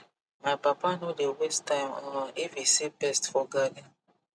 my papa no dey waste time um if he see pest for garden